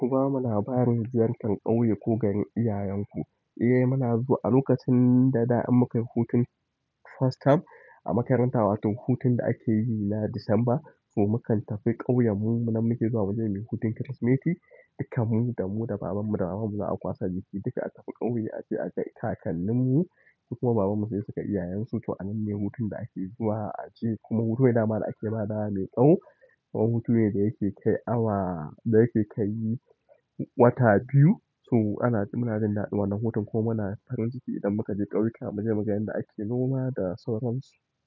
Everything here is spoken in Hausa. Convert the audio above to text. Kuma muna fara da ziyartar ƙauye ko ga iyayenku. Eh muna zuwa a lokacin da da in muka yi hutun first term a makaranta, wato hutun da ake yi na Disamba. So mukan tafi ƙauyen mu, nan muke zuwa mu je muyi hutun Kirsimeti. Dukkan mu da mu da babanmu da mamanmu za a kwaso jiki, duka a tafi ƙauye ace a ga kakanninmu kuma babanmu sai su kai iyayensu, to anan ne hutun da ake zuwa aje. Kuma hutu da ma da ake ba da wa mai tsawo. Kuma hutu ne da yake kai awa, da yake kai wata biyu. So ana, muna jin daɗin wannan hutun kuma muna farin ciki idan muka je ƙauyuka mu je mu ga yanda ake noma da sauransu.